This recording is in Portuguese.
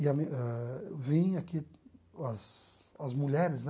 E a mi ah vim aqui, as as mulheres, né?